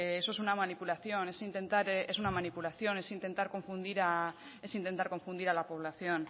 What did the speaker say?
eso es una manipulación es intentar confundir a la población